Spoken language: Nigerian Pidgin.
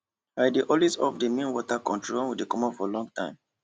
i dey always off the main water control when we dey comot for long time